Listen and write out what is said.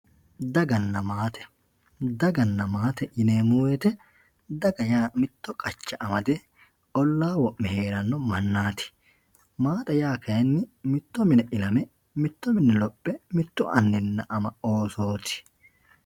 daganna maate daganna maate yineemmo wote mitto qacha amade ollaa wo'me heeranno mannaati maate yaa kayiinni mitto mine ilame lophe mittu anninna ama oosooti.